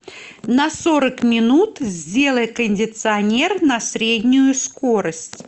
на сорок минут сделай кондиционер на среднюю скорость